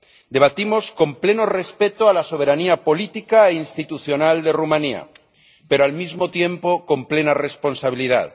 Debatimos con pleno respeto a la soberanía política institucional de Rumanía pero, al mismo tiempo, con plena responsabilidad.